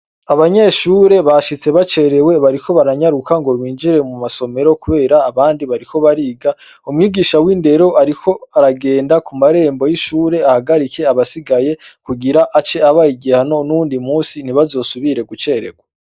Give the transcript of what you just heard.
Abanyeshure bashitse bacerewe bariko baranyaruka ngo binjiye mu masomero, kubera abandi bariko bariga. Umwigisha w'indero ariko aragenda ku marembo y'ishure, ahagarike abasigaye, kugira ace abaha igihano n'uwundi munsi ntibazosubire gucererwa.